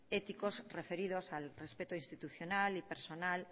ético referidos al respeto institucional y personal